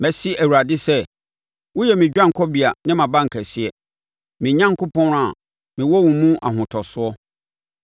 Mɛse Awurade sɛ, “Woyɛ me dwanekɔbea ne mʼabankɛseɛ, me Onyankopɔn a mewɔ wo mu ahotosoɔ.”